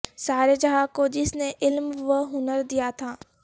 سارے جہاں کو جس نے علم وہنر دیا تھا